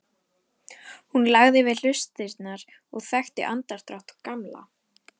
Hún lagði við hlustirnar og þekkti andardrátt Gamla.